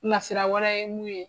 Nasira wɛrɛ ye mun ye.